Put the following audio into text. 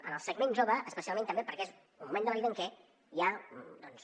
en el segment jove especialment també perquè és un moment de la vida en què hi ha doncs